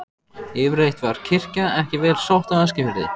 Yfirleitt var kirkja ekki vel sótt á Eskifirði.